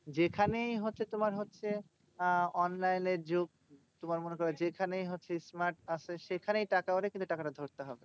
যেখানেই হচ্ছে তোমার হচ্ছে আহ online এর যুগ। তোমার মনে করো যেখানেই হচ্ছে smart সেখানেই টাকা ওরে কিন্তু টাকাটা ধরতে হবে।